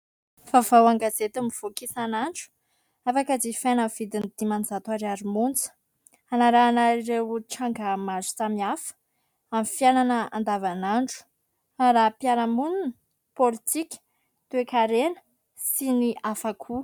Vavao an-gazety mivoaka isan'andro afaka jifaina amin'ny vidiny dimanjato ariary monja. Anarahana ireo tranga maro samihafa amin'ny fiainana andavan'andro : raharaham-piarahaminona, politika, toe-karena sy ny hafa koa.